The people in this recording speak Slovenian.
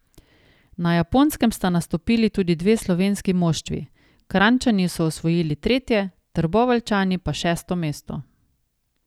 Na Japonskem sta nastopili tudi dve slovenski moštvi, Kranjčani so osvojili tretje, Trboveljčani pa šesto mesto.